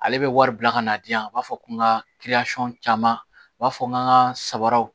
Ale bɛ wari bila ka na di yan a b'a fɔ ko n ka caman a b'a fɔ n ka n ka sabaraw